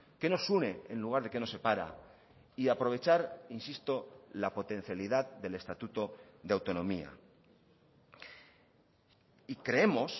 qué nos une en lugar de qué nos separa y aprovechar insisto la potencialidad del estatuto de autonomía y creemos